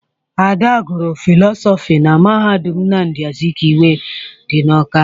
Ada gụrụ fịlọsọfị na mahadum Nnamdi Azikiwe dị n'Ọ́ká.